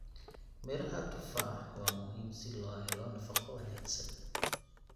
Midhaha tufaa waa muhiim si loo helo nafaqo wanaagsan.